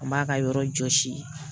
An b'a ka yɔrɔ jɔsi